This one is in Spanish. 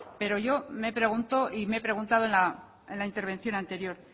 pero yo me pregunto y me he preguntado en la intervención anterior